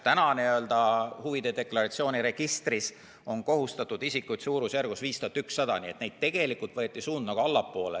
Praegu on n-ö huvide deklaratsiooni registris kohustatud isikuid suurusjärgus 5100, nii et tegelikult võeti suund nagu allapoole.